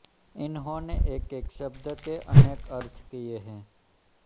इन्होंने एकएक शब्द के अनेक अर्थ किये हैं